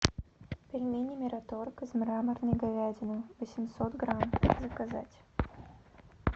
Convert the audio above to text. пельмени мираторг из мраморной говядины восемьсот грамм заказать